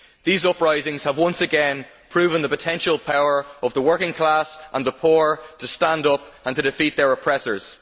Those uprisings have once again proven the potential power of the working class and the poor to stand up and defeat their oppressors.